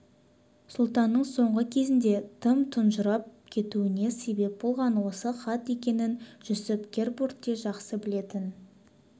сұлтанның соңғы кезде тым тұнжырап кетуіне себеп болған осы хат екенін жүсіп-гербурт те жақсы білетін